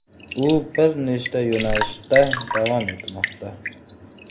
U bir nechta yo‘nalishda davom etmoqda.